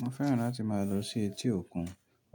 Mo fẹ́ràn láti máa lọ sí etí òkun.